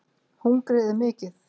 Hungrið er mikið